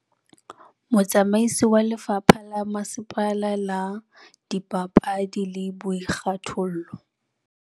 Motsamaisi wa lefapha la masepala la dipapadi le boikgathollo.